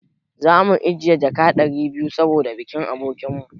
Za mu ajiye jaka ɗari biyu saboda bikin abokin mu.